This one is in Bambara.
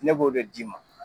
Ne b'o de d'i ma.